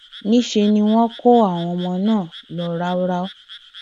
níṣẹ ni wọn kó àwọn ọmọ náà lọ ráúráú